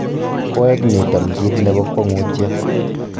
Koeg' niton kiit nebo kwongutiet.